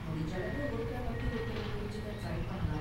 முடிஞ்ச அளவு ஒருத்தர பத்தி ஒருத்தர் புரிஞ்சுக்க ட்ரை பண்ணலாம்.